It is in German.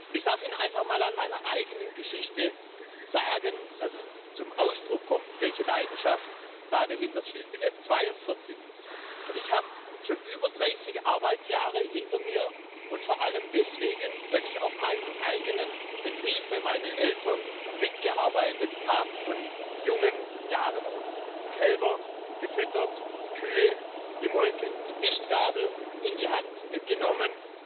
Ich darf Ihnen einfach mal anhand meiner eigenen Geschichte zum Ausdruck bringen, welche Leidenschaft dahintersteht. Ich bin jetzt 42 und ich habe schon über 30 Arbeitsjahre hinter mir, und vor allem deswegen, weil ich auf meinem eigenen Betrieb bei meinen Eltern mitgearbeitet habe, von jungen Jahren an die Kälber gefüttert, die Kühe gemolken, die Mistgabel in die Hand genommen